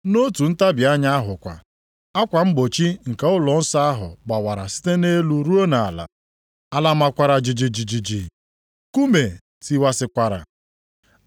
Nʼotu ntabi anya ahụ kwa, akwa mgbochi nke ụlọnsọ ahụ gbawara site nʼelu ruo nʼala. Ala makwara jijiji. Nkume tiwasịkwara.